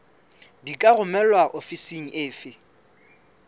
di ka romelwa ofising efe